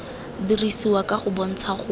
dirisiwa ka o kgontsha go